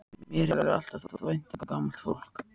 Mér hefur alltaf þótt vænt um gamalt fólk.